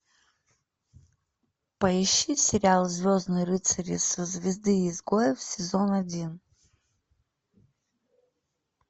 поищи сериал звездные рыцари со звезды изгоев сезон один